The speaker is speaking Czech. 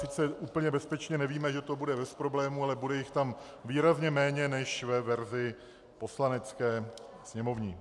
Sice úplně bezpečně nevíme, že to bude bez problémů, ale bude jich tam výrazně méně než ve verzi poslanecké, sněmovní.